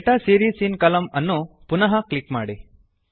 data series in ಕಾಲಮ್ನ ಅನ್ನು ಪುನಃ ಕ್ಲಿಕ್ ಮಾಡಿ